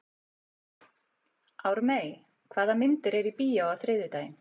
Ármey, hvaða myndir eru í bíó á þriðjudaginn?